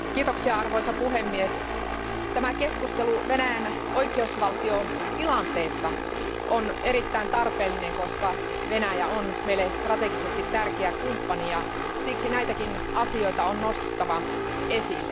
Arvoisa puhemies, tämä keskustelu Venäjän oikeusvaltiotilanteesta on erittäin tarpeellinen, koska Venäjä on meille strategisesti tärkeä kumppani ja siksi näitäkin asioita on nostettava esille.